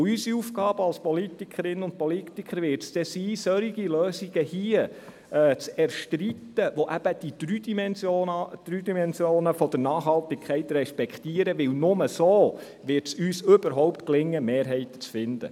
Unsere Aufgabe als Politikerinnen und Politiker wird sein, hier Lösungen zu erstreiten, die diese drei Dimensionen der Nachhaltigkeit respektieren, denn nur so wird es uns überhaupt gelingen, Mehrheiten zu finden.